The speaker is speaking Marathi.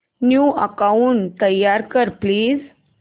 न्यू अकाऊंट तयार कर प्लीज